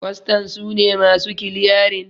kwastan su ne masu kiliyarin